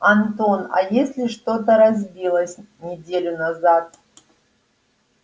антон а если что-то разбилось неделю назад